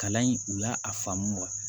Kalan in u y'a a faamu wa